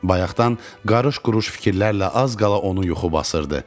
Bayaqdan qarış-quruş fikirlərlə az qala onu yuxu basırdı.